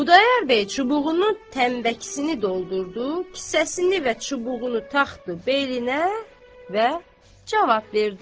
Xudayar bəy çubuğunun tənbəkisini doldurdu, kisəsini və çubuğunu taxdı beyninə və cavab verdi.